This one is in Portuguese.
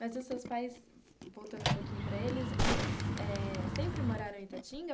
Mas os seus pais, voltando um pouquinho para eles, eles eh sempre moraram em Itatinga?